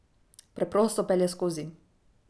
Preprosto pelje skozi.